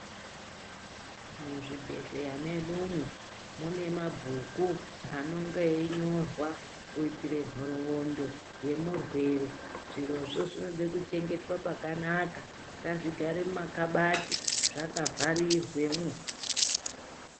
Muzvibhedhlera medumo mune mabhuku anonga einyorwa kuitire nhorondo yemurwere zvirozvo zvinoda kuchengeta pakanaka ngazvigare mumakabati zvakavharirwemo .